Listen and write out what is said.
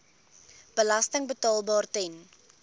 belasting betaalbaar ten